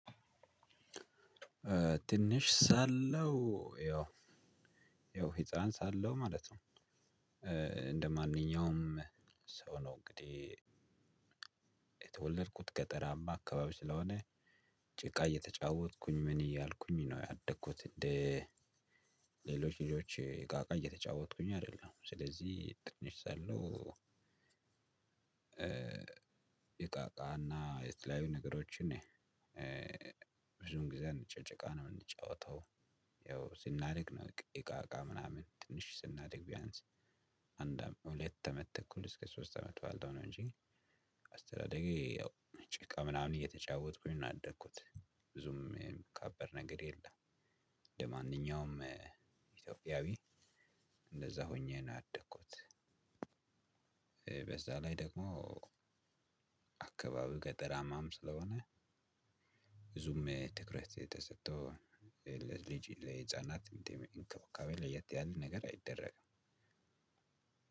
ትንሽ ሳለው ያው ያው ህፃን ሳለው ማለት ነው። እንደ ማንኛውም ሰው ነው እንግዲህ። የተወለድኩት ገጠራማ አካባቢ ስለሆነ ጭቃ እየተጫወትኩኝ ምን እያልኩኝ ነው ያደግኩት። እንደ ልጆች እቃቃ እየተጫወትኩኝ አይደለም ስለዚህ ትንሽ ሳለው። እቃ እቃ እና የተለያዩ ነገሮችን ብዙን ጊዜ አንጫወትም ጭቃ የምንጫወተው ያው ስናድግ ነው። እቃ እቃ ምናምን ትንሽ ስናድግ ቢያንስ አንድ አመት ሁለት አመት ተኩል እስከ ሶስት አመት ባለው ነው። እንጂ አስተዳደጌ ያው ጭቃ ምናምን እየተጫወትኩኝ ነው ያደግኩት። ብዙም የሚካበድ ነገር የለም። እንደ ማንኛውም ኢትዮጵያዊ እንደዛ ሆኜ ነው ያደግኩት። በዛ ላይ ደግሞ አካባቢው ገጠራማም ስለሆነ ብዙም ትኩረት የተሰጠው ለልጅ ለህፃናት እንክብካቤ ለየት ያለ ነገር አይደረግም።